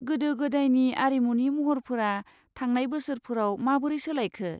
गोदो गोदायनि आरिमुनि महरफोरा थांनाय बोसोरफोराव माबोरै सोलायखो?